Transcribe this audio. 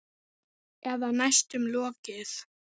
Eða næstum lokið.